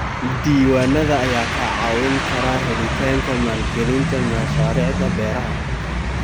Diiwaanada ayaa kaa caawin kara helitaanka maalgelinta mashaariicda beeraha.